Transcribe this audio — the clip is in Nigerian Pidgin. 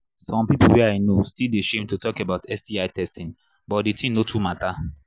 some people way i know still they shame to talk about sti testing but the thing no too matter